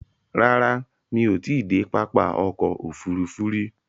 Rárá, mí ò ti i dé pápá ọkò òfurufú rí.